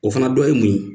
O fana dɔ ye mun ye